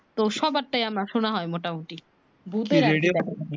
তো সবার টা আমার শোনা হয় মোটা মুটি